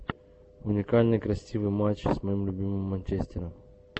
уникальный красивый матч с моим любимым манчестером